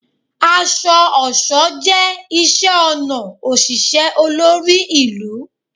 Aṣọ-ọṣọ jẹ iṣẹ-ọnà oṣiṣẹ olori ilu